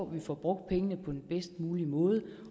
vi får brugt pengene på den bedst mulige måde